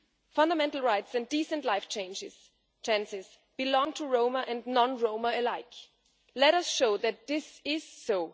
Fundamental rights and decent life chances belong to Roma and non Roma alike. Let us show that this is so.